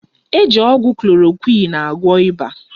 Eji ọgwụ Klorokwịn agwọ ịba.